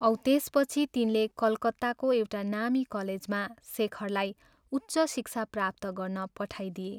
औ त्यसपछि तिनले कलकत्ताको एउटा नामी कलेजमा शेखरलाई उच्च शिक्षा प्राप्त गर्न पठाइदिए।